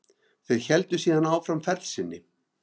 Þeir héldu síðan áfram ferð sinni.